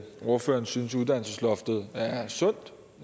ordføreren synes at uddannelsesloftet er sundt